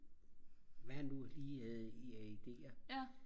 hvad han nu lige havde af ideer